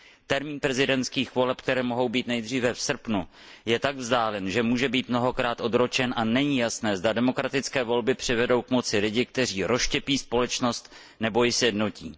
Termín prezidentských voleb, které mohou být nejdříve v srpnu, je tak vzdálen, že může být mnohokrát odročen, a není jasné, zda demokratické volby přivedou k moci lidi, kteří rozštěpí společnost nebo ji sjednotí.